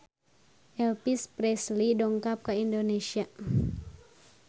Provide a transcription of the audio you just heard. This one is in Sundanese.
Elvis Presley dongkap ka Indonesia